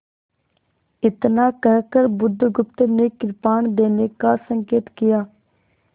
इतना कहकर बुधगुप्त ने कृपाण देने का संकेत किया